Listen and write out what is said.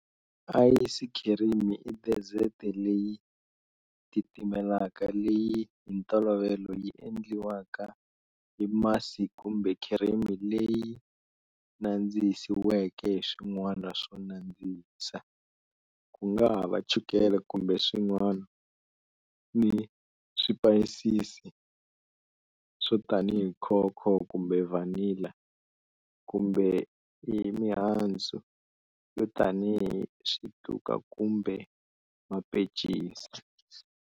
Ayisikhirimi i dessert leyi titimelaka leyi hi ntolovelo yi endliwaka hi masi kumbe khirimi leyi nandzihisiweke hi swin'wana swo nandzihisa, ku nga ha va chukele kumbe swin'wana, ni swipayisisi, swo tanihi cocoa kumbe vanilla, kumbe hi mihandzu, yo tanihi switluka kumbe mapecisi.